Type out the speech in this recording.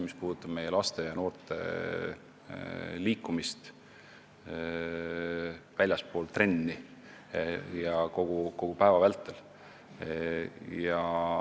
Mõtlen meie laste ja noorte liikumist väljaspool trenni, kogu päeva vältel.